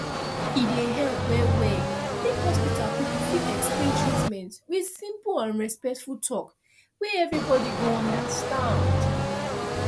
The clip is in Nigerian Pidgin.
e dey help well well if hospital people fit explain treatment with simple and respectful talk wey everybody go understand